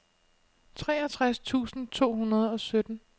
treogtres tusind to hundrede og sytten